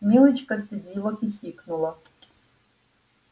милочка стыдливо хихикнула